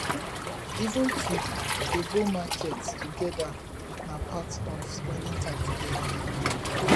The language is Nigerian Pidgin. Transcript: even to dey go to market togeda na part of spending time together